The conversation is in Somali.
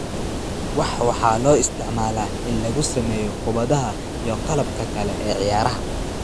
Wax waxaa loo isticmaalaa in lagu sameeyo kubbadaha iyo qalabka kale ee ciyaaraha.